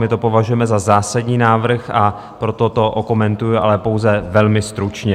My to považujeme za zásadní návrh, a proto to okomentuji, ale pouze velmi stručně.